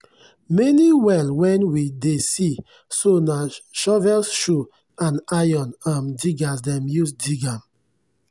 many well wen we dey see so na shovelshoe and iron um diggers dem use dig am.